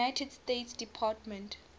united states department